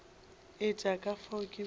etša ka fao ke bego